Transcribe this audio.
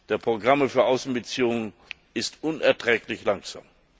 der Programme für Außenbeziehungen ist unerträglich langsam.